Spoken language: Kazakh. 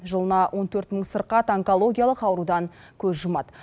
жылына он төрт мың сырқат онкологиялық аурудан көз жұмады